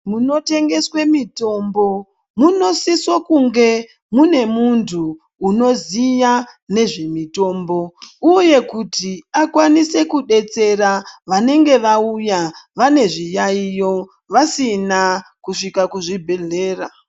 Munotengeswe mitombo munosise kunge mune muntu unoziya nezvemutombo uye kuti akwanise kudetsera vanenge vauya vane zviyayiyo vasina kusvika kuzvibhehlera.